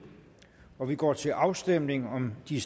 og vi går til afstemning om de